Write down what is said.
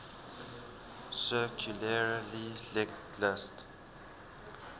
circularly linked list